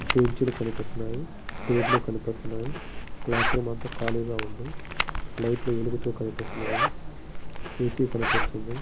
Benches కనిపిస్తున్నాయి. Table కనిపిస్తున్నాయి. Class room అంతా ఖాళీగా ఉంది. లైట్ లు వెలుగుతూ కనిపిస్తున్నాయి. ఏసీ కనిపిస్తుంది.